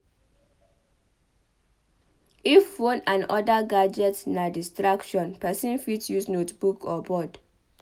If phone and oda gadget na distraction person fit use notebook or board